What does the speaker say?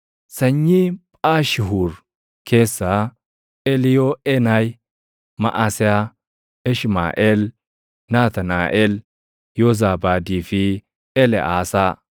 Sanyii Phaashihuur keessaa: Eliiyooʼeenayi, Maʼaseyaa, Ishmaaʼeel, Naatnaaʼel, Yoozaabaadii fi Eleʼaasaa.